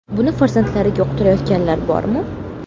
Buni farzandlariga uqtirayotganlar bormi?